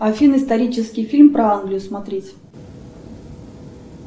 афина исторический фильм про англию смотреть